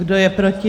Kdo je proti?